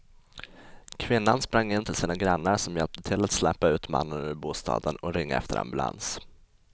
Kvinnan sprang in till sina grannar som hjälpte till att släpa ut mannen ur bostaden och ringa efter ambulans.